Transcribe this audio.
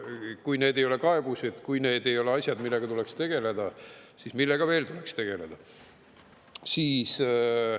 Kui need ei ole kaebused, kui need ei ole asjad, millega tuleks tegeleda, siis millega veel tuleks tegeleda?